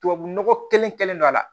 Tubabu nɔgɔ kelen kɛlen don a la